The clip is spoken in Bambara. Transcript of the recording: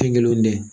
Kɛ kelen dɛ